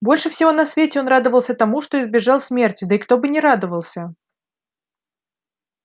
больше всего на свете он радовался тому что избежал смерти да и кто бы не радовался